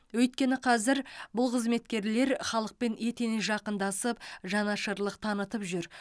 өйткені қазір бұл қызметкерлер халықпен етене жақындасып жанашырлық танытып жүр